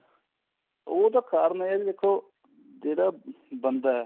ਉਹਦਾ ਕਾਰਨ ਇਹ ਹੈ ਦੇਖੋ ਜਿਹੜਾ ਬੰਦਾ ਏ